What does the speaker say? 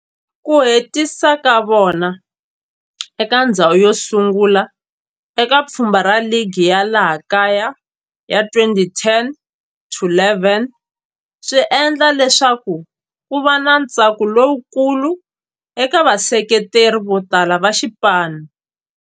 Ku hetisa ka vona eka ndzhawu yosungula eka pfhumba ra ligi ya laha kaya ya 2010-11 swi endle leswaku kuva na ntsako lowukulu eka vaseketeri votala va xipano.